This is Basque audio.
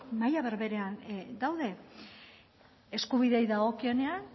maila berberean daude eskubideei dagokienean